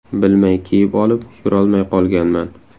Bilmay kiyib olib, yurolmay qolganman.